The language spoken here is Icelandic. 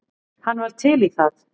Hann var til í það.